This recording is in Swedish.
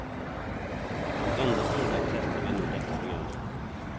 Som enda skola testar vi nu detta program.